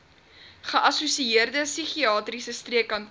geassosieerde psigiatriese streekkantoor